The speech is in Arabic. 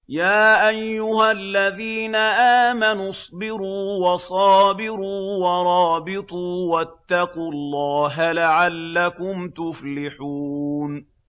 يَا أَيُّهَا الَّذِينَ آمَنُوا اصْبِرُوا وَصَابِرُوا وَرَابِطُوا وَاتَّقُوا اللَّهَ لَعَلَّكُمْ تُفْلِحُونَ